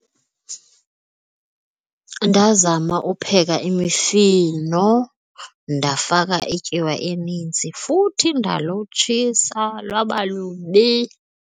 Ndazama upheka imifino ndafaka ityiwa enintsi futhi ndalutshisa lwaba lubi.